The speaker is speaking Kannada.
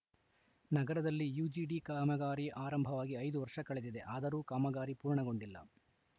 ನಗರದಲ್ಲಿ ಯುಜಿಡಿ ಕಾಮಗಾರಿ ಆರಂಭವಾಗಿ ಐದು ವರ್ಷ ಕಳೆದಿದೆ ಆದರೂ ಕಾಮಗಾರಿ ಪೂರ್ಣಗೊಂಡಿಲ್ಲ